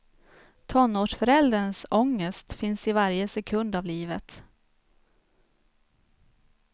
Tonårsförälderns ångest finns i varje sekund av livet.